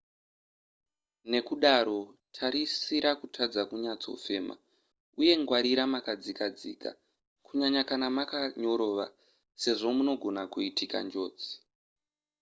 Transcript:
ndekudaro tarisira kutadza kunyatsofema uye ngwarira makadzikadzika kunyanya kana makanyorova sezvo munogona kuitika njodzi